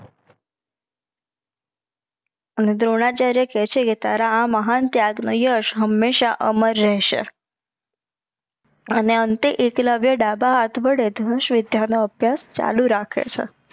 અને દ્રોણાચાર્ય કે છે કે તારા એ મહાન ત્યજ નો યશ હમેશા અમર રહસે. અને એકલવ્ય ડાભા હાત વિધ્ય નો અભિયાશ ચાલુ રાખે છે.